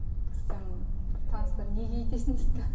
сөйтсем бір таныстар неге өйтесің дейді да